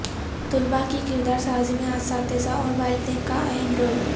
طلبہ کی کردار سازی میں اساتذہ اور والدین کا اہم رول